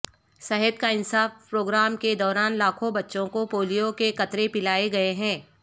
صحت کا انصاف پروگرام کے دوران لاکھوں بچوں کو پولیو کے قطرے پلائے گئے ہیں